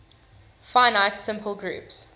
finite simple groups